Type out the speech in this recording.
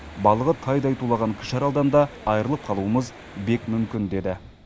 балығы тайдай тулаған кіші аралдан да айырылып қалуымыз бек мүмкін деді